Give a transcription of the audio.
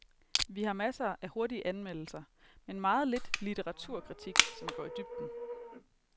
Vi har masser af hurtige anmeldelser, men meget lidt litteraturkritik, som går i dybden.